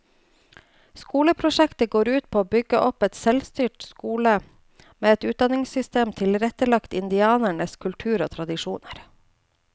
Skoleprosjektet går ut på å bygge opp en selvstyrt skole med et utdanningssystem tilrettelagt indianernes kultur og tradisjoner.